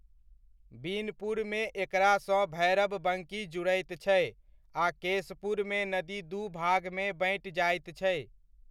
बिनपुरमे एकरा सँ भैरबबंकी जुड़ैत छै, आ केशपुरमे नदी दू भागमे बँटि जाइत छै।